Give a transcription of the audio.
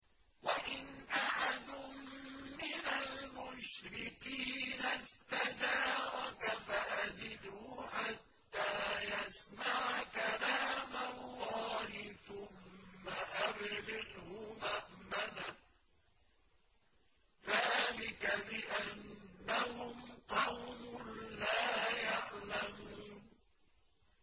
وَإِنْ أَحَدٌ مِّنَ الْمُشْرِكِينَ اسْتَجَارَكَ فَأَجِرْهُ حَتَّىٰ يَسْمَعَ كَلَامَ اللَّهِ ثُمَّ أَبْلِغْهُ مَأْمَنَهُ ۚ ذَٰلِكَ بِأَنَّهُمْ قَوْمٌ لَّا يَعْلَمُونَ